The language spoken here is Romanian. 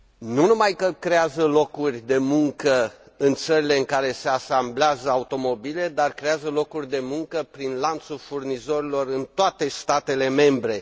Nu numai că creează locuri de muncă în țările în care se asamblează automobile, dar creează locuri de muncă prin lanțul furnizorilor în toate statele membre.